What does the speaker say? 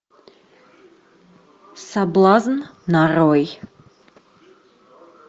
соблазн нарой